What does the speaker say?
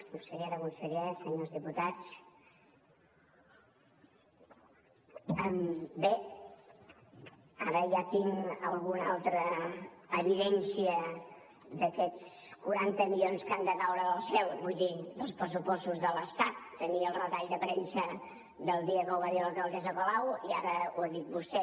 consellera conseller senyors diputats bé ara ja tinc alguna altra evidència d’aquests quaranta milions que han de caure del cel vull dir dels pressupostos de l’estat tenia el retall de premsa del dia que ho va dir l’alcaldessa colau i ara ho ha dit vostè